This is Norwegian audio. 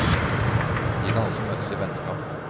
De kan også møtes i vennskap.